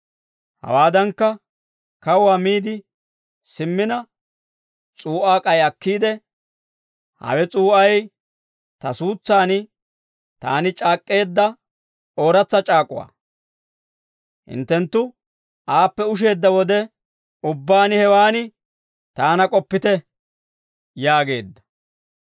Hawaadankka, kawuwaa miide simmina, s'uu'aa k'ay akkiide, «Hawe s'uu'ay ta suutsaan taani c'aak'k'eedda ooratsa c'aak'uwaa. Hinttenttu aappe usheedda wode ubbaan hewaan taana k'oppite» yaageedda.